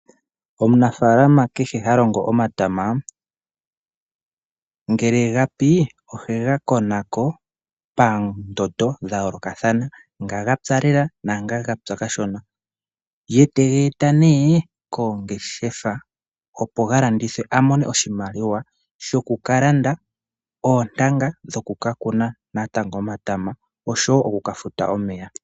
Omunafaalana kehe halongo omatama, ngele gapi ohe ga konako peendondo dhayoolokathana. Ngoka gapya lela nangoka gapya kashona. Ye tega eta nee koongeshefa opo galandithwe amone oshimaliwa shoku kalanda oontanga dhoku kakuna natango omatama, osho wo okuka futa omeya.